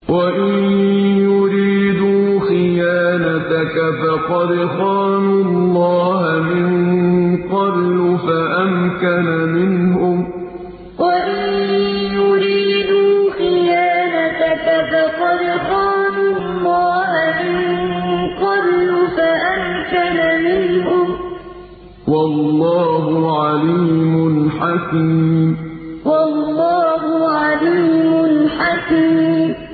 وَإِن يُرِيدُوا خِيَانَتَكَ فَقَدْ خَانُوا اللَّهَ مِن قَبْلُ فَأَمْكَنَ مِنْهُمْ ۗ وَاللَّهُ عَلِيمٌ حَكِيمٌ وَإِن يُرِيدُوا خِيَانَتَكَ فَقَدْ خَانُوا اللَّهَ مِن قَبْلُ فَأَمْكَنَ مِنْهُمْ ۗ وَاللَّهُ عَلِيمٌ حَكِيمٌ